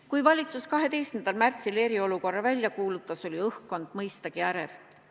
Kui valitsus 12. märtsil eriolukorra välja kuulutas, oli õhkkond mõistagi ärev.